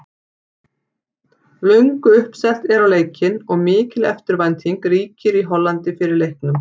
Löngu uppselt er á leikinn og mikil eftirvænting ríkir í Hollandi fyrir leiknum.